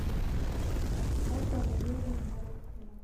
ольга валерьевна рудкина